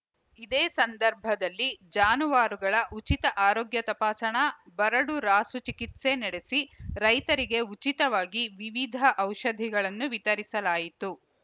ಇದೇ ಸಂದರ್ಭದಲ್ಲಿ ಜಾನುವಾರುಗಳ ಉಚಿತ ಆರೋಗ್ಯ ತಪಾಸಣಾ ಬರಡು ರಾಸು ಚಿಕಿತ್ಸೆ ನಡೆಸಿ ರೈತರಿಗೆ ಉಚಿತವಾಗಿ ವಿವಿಧ ಔಷಧಿಗಳನ್ನು ವಿತರಿಸಲಾಯಿತು